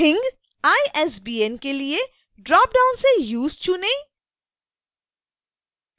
thingisbn के लिए dropdown से use चुनें